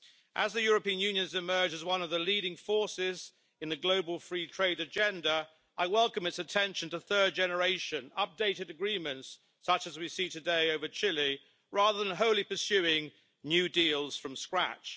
As the European Union has emerged as one of the leading forces in the global free trade agenda, I welcome its attention to third generation updated agreements such as we see today with Chile, rather than wholly pursuing new deals from scratch.